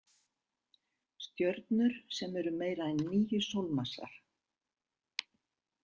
Stjörnur sem eru meira en níu sólmassar.